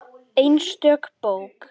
Einstök bók.